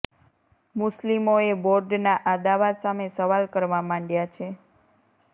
મુસ્લિમોએ બોર્ડના આ દાવા સામે સવાલ કરવા માંડયા છે